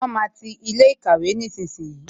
Wọn máa ti ilé ìkàwé nísinsìnyí